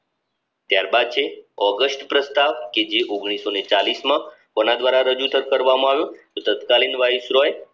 ત્યારબાદ છે ઓગસ્ટ પ્રસ્તાવ કે જે માં કોના દ્વારા રજૂ થર કરવામાં આવ્યું? તો તત્કાલીન વાઇસરોય